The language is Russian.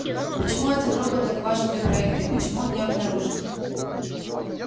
почему один робот так важен для проекта и почему он не обнаружен